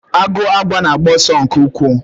Agụ àgwà na-agba ọsọ nke ukwuu.